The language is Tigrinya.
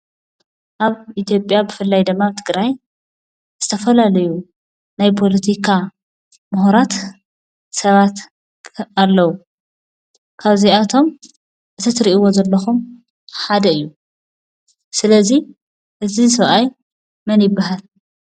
ኣብ ኢትዮጵያ ብፍላይ ድማ ኣብ ትግራይ ዝተፈላለዩ ናይ ፖለቲካ ምሁራት ሰባት ኣለዉ፡፡ ካብዚኣቶም እቲ ትሪእዎ ዘለኹም ሓደ እዩ፡፡ ስለ እዚ እዚ ሰብኣይ መን ይበሃል?